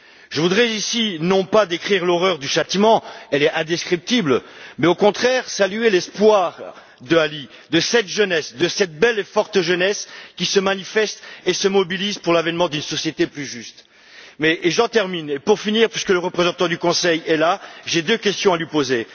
Je voudrais, ici, non pas décrire l'horreur du châtiment elle est indescriptible mais, au contraire, saluer l'espoir d'Ali, de cette jeunesse, de cette belle et forte jeunesse qui se manifeste et se mobilise pour l'avènement d'une société plus juste. En conclusion, puisque le représentant du Conseil est là, j'ai deux questions à lui poser.